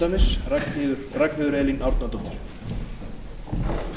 herra forseti ég vil hér í